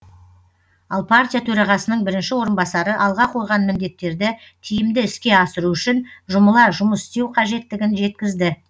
ал партия төрағасының бірінші орынбасары алға қойған міндеттерді тиімді іске асыру үшін жұмыла жұмыс істеу қажеттігін жеткізді